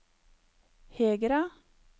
Hegra